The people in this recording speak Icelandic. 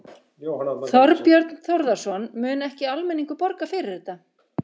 Þorbjörn Þórðarson: Mun ekki almenningur borga fyrir þetta?